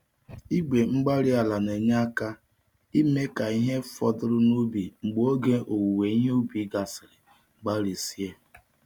Igwe-mgbárí-ala na-enye aka ime ka ihe fọdụrụ n'ubi mgbe oge owuwe ihe ubi gasịrị gbarisie.